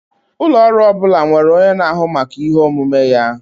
Ụlọ ọrụ ọ bụla nwere onye na-ahụ maka ihe omume ya.